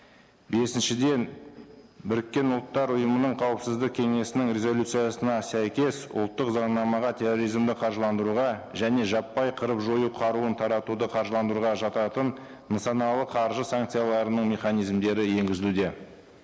бесіншіден біріккен ұлттар ұйымының қауіпсіздік кеңесінің резолюциясына сәйкес ұлттық заңнамаға терроризмді қаржыландыруға және жаппай қырып жою қаруын таратуды қаржыландыруға жататын нысаналы қаржы санкцияларының механизмдері енгізілуде